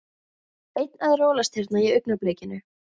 Einn að rolast hérna í augnablikinu.